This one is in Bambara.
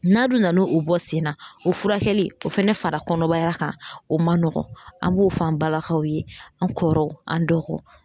N'a dun nan' o bɔ sen na o furakɛli o fɛnɛ fara kɔnɔbara kan o ma nɔgɔn an b'o fɔ an balakaw ye an kɔrɔw an dɔgɔw